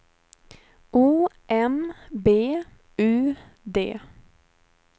O M B U D